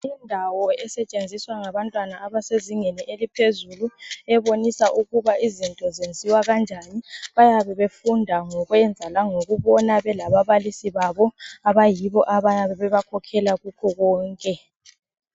Indawo esetshenziswa ngabantwana abasezingeni eliphezulu. Ebonisa ukuba izinto zenziwa kanjani. Bayabe befunda ngokwenza langokubona, belababalisi babo. Abayibo abayabe bebakhokhela kukho konke.